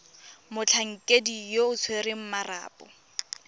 motlhankedi yo o tshwereng marapo